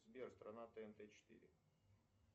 сбер страна тнт четыре